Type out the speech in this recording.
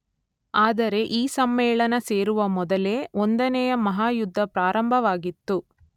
ಆದರೆ ಈ ಸಮ್ಮೇಳನ ಸೇರುವ ಮೊದಲೇ ಒಂದನೆಯ ಮಹಾಯುದ್ಧ ಪ್ರಾರಂಭವಾಗಿತ್ತು.